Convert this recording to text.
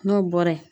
N'o bɔra ye